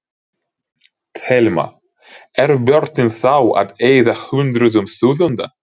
Telma: Eru börnin þá að eyða hundruðum þúsunda?